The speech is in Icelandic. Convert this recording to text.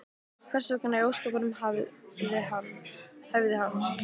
Hvers vegna í ósköpunum hefði hann?